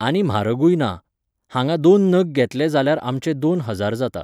आनी म्हारगूय ना. हांगा दोन नग घेतले जाल्यार आमचे दोन हजार जाता.